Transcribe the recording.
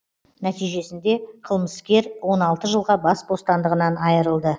нәтижесінде қылмыскер он алты жылға бас бостандығынан айырылды